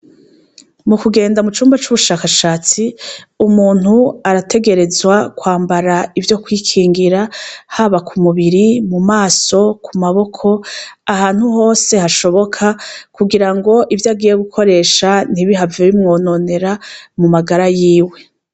Mu kugenda mu cumba c'ubushakashatsi umuntu arategerezwa kwambara ivyo kwikingira haba ku mubiri mu maso ku maboko ahantu hose hashoboka ku girango ivyo agiye gukoresha ntibihave bimwononera mu magara yiwe.